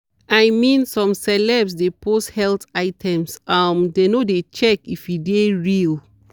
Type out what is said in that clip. i mean some celeb de post health items um dem no de check if e de real.